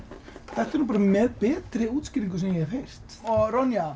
þetta er með betri útskýringu sem ég hef heyrt